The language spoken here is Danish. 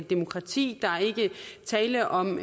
demokrati der er ikke tale om